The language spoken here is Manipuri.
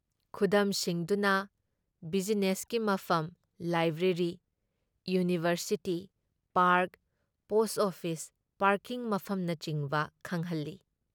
ꯈꯨꯗꯝꯁꯤꯡꯗꯨꯅ ꯕꯤꯖꯤꯅꯦꯁꯀꯤ ꯃꯐꯝ, library, university, park, post office, parking ꯃꯐꯝꯅꯆꯤꯡꯕ ꯈꯪꯍꯜꯂꯤ ꯫